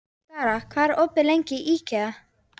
Dara, hvað er opið lengi í IKEA?